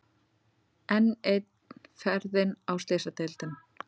Enn ein ferðin á Slysadeild.